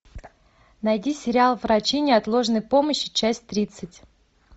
найди сериал врачи неотложной помощи часть тридцать